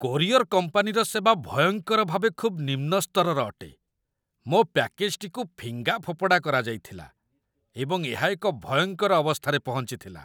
Courier କମ୍ପାନୀର ସେବା ଭୟଙ୍କର ଭାବେ ଖୁବ୍ ନିମ୍ନ ସ୍ତରର ଅଟେ ମୋ ପ୍ୟାକେଜ୍‌ଟିକୁ ଫିଙ୍ଗାଫୋପଡ଼ା କରାଯାଇଥିଲା, ଏବଂ ଏହା ଏକ ଭୟଙ୍କର ଅବସ୍ଥାରେ ପହଞ୍ଚିଥିଲା।